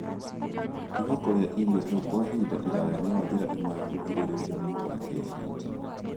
Gũtiga kũrĩa irio hehu kwa ihinda iraya nĩ njĩra ĩmwe ya kũgirĩrĩria mũrimũ wa typhoid.